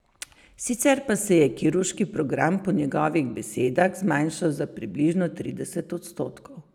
Sicer pa se je kirurški program po njegovih besedah zmanjšal za približno trideset odstotkov.